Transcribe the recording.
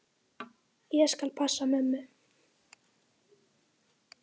Ég skal passa mömmu.